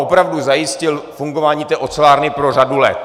Opravdu zajistil fungování té ocelárny po řadu let.